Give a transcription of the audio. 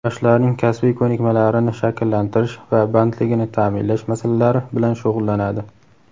yoshlarning kasbiy ko‘nikmalarini shakllantirish va bandligini taʼminlash masalalari bilan shug‘ullanadi.